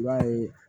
I b'a ye